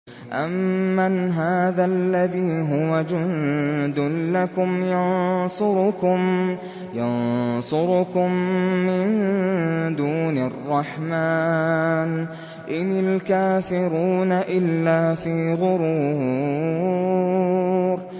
أَمَّنْ هَٰذَا الَّذِي هُوَ جُندٌ لَّكُمْ يَنصُرُكُم مِّن دُونِ الرَّحْمَٰنِ ۚ إِنِ الْكَافِرُونَ إِلَّا فِي غُرُورٍ